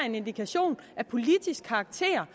en indikation af politisk karakter